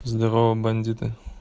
здорово бандиты